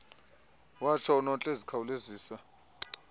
watsho unontle ezikhawulezisa